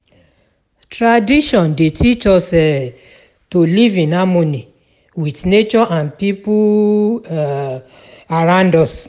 Tradition dey teach us um to live in harmony with nature and people um around us.